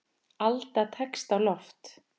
Alda tekst á loft.